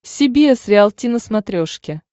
си би эс риалти на смотрешке